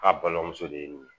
K'a balimamuso de ye nin ye